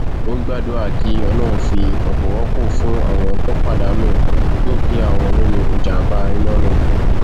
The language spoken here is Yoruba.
ó gbàdúrà kí ọlọrun fi ọpọ rọpò fún àwọn tó pàdánù dúkìá wọn nínú ìjàmbá iná náà